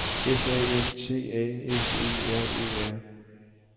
F A N T A S E R E R